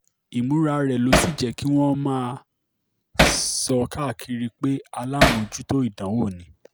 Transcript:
ìmúra rẹ̀ ló sì jẹ́ kí wọ́n máa sọ káàkiri pé alámòjútó ìdánwò ni